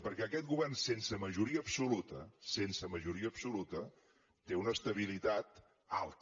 perquè aquest govern sense majoria absoluta sense majoria absoluta té una estabilitat alta